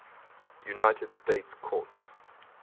united states courts